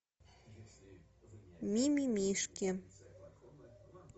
мимимишки